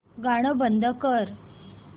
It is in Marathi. गाणं बंद कर